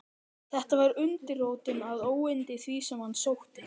Þetta var undirrótin að óyndi því, sem á hann sótti.